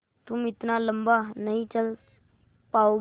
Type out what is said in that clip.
तुम इतना लम्बा नहीं चल पाओगे